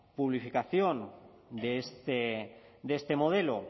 publificación de este modelo